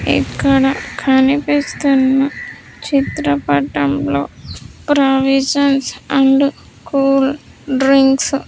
ఇక్కడ కనిపిస్తున్న చిత్రపటంలో ప్రావిజన్స్ అండ్ కూల్ డ్రింక్స్ .